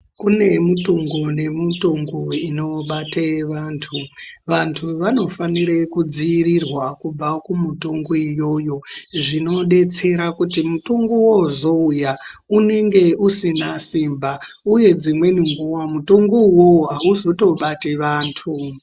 Kune mutungu nemutungu inobate vantu. Vantu vanofanire kudziirirwa kubva kumutungu iyoyo, zvinodetsera kuti mutungu wozouya unenge usina simba uye dzimweni nguwa mutungu uwowo auzotobati vantu.